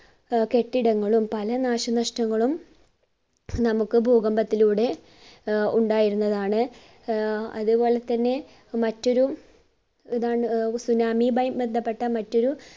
ആഹ് കെട്ടിടങ്ങളും പല നാശനഷ്ടങ്ങളും നമ്മുക്ക് ഭൂകമ്പത്തിലൂടെ ആഹ് ഉണ്ടായിരുന്നതാണ്. ആഹ് അത് പോലെ തന്നെ മറ്റൊരു ഇതാണ് ആഹ് tsunami യുമായി ബന്ധപ്പെട്ട മറ്റൊരു